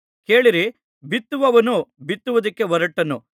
ಕೇಳಿರಿ ಬಿತ್ತುವವನು ಬಿತ್ತುವುದಕ್ಕೆ ಹೊರಟನು